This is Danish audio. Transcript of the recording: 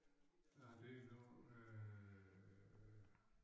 Der lige noget øh